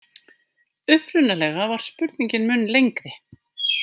Upprunalega var spurningin mun lengri.